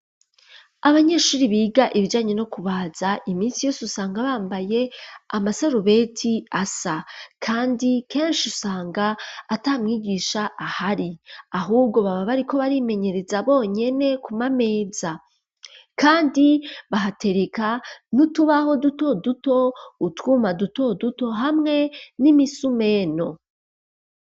Abanyeshuri biga ibijanye no kubaza iminsi yose usanga bambaye amasarubeti asa kandi keshi usanga atamwigisha ahari ahubwo baba bariko barimenyereza bonyene ku mameza kandi bahatereka n'utubaho duto duto utwuma duto duto hamwe n'imisumento.